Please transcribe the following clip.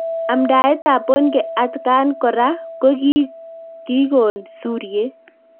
Amdaet ab Bonnke atkan koraa kokikoon suryet